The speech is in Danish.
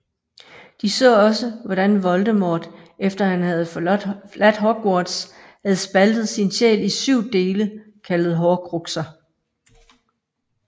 De så også hvordan Voldemort efter han havde forladt Hogwarts havde spaltet sin sjæl i syv dele kaldet Horcruxer